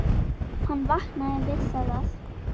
Hann vaknaði við það að